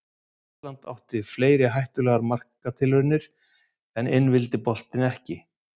Ísland átti fleiri hættulegar marktilraunir en inn vildi boltinn ekki.